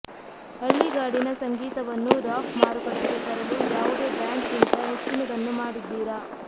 ಹಳ್ಳಿಗಾಡಿನ ಸಂಗೀತವನ್ನು ರಾಕ್ ಮಾರುಕಟ್ಟೆಗೆ ತರಲು ಯಾವುದೇ ಬ್ಯಾಂಡ್ ಗಿಂತ ಹೆಚ್ಚಿನದನ್ನು ಮಾಡಿದ್ದೀರಾ